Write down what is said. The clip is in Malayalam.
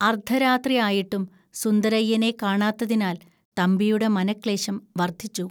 അർദ്ധരാത്രിയായിട്ടും സുന്ദരയ്യനെ കാണാത്തതിനാൽ തമ്പിയുടെ മനഃക്ലേശം വർദ്ധിച്ചു